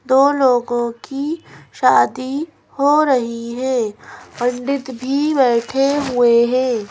दो लोगों की शादी हो रही है पण्डित भी बैठे हुए हैं।